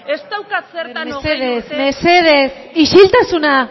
mesedez mesedez isiltasuna